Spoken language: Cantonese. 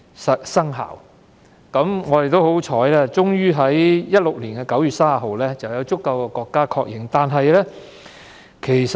很幸運，《馬拉喀什條約》在2016年9月30日獲足夠的國家確認。